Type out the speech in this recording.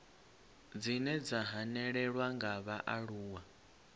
dzine dza hanelelwa nga vhaaluwa